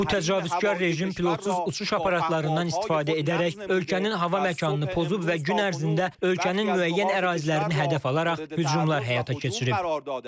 Bu təcavüzkar rejim pilotsuz uçuş aparatlarından istifadə edərək ölkənin hava məkanını pozub və gün ərzində ölkənin müəyyən ərazilərini hədəf alaraq hücumlar həyata keçirib.